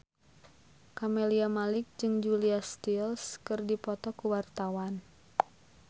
Camelia Malik jeung Julia Stiles keur dipoto ku wartawan